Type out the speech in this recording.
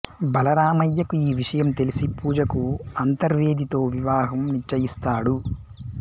బలరామయ్యకు ఈ విషయం తెలిసి పూజకు అంతర్వేదితో వివాహం నిశ్చయిస్తాడు